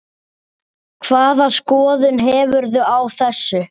Hvaða skoðun hefurðu á þessu?